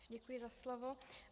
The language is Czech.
Děkuji za slovo.